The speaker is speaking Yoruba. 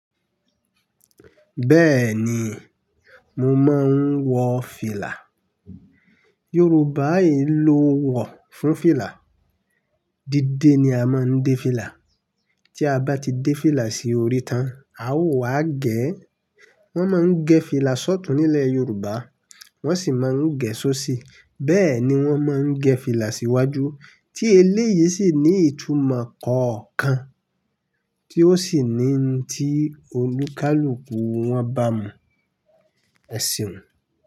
Bẹ́ẹ̀ni, mo máa ń wọ fìlà. Yorùbá yìí ló wọ̀ fún fìlà. Dídé ni a máa ń dé fìlà. Tí a bá ti dé fìlà sí orí tán, a ó wá gẹ̀ ẹ́. Wọ́n máa ń gẹ́ fìlà sọ́tù nílẹ̀ Yorùbá, wọ́n sì máa ń gẹ̀ ẹ́ sóṣì. Bẹ́ẹ̀ ni wọ́n máa ń gẹ́ fìlà sí iwájú, tí eléyìí sì ní ìtumọ̀ kọ̀ọ̀kan tí ó sì ni tí olùkálùkù wọn bá mu ẹ̀sìn.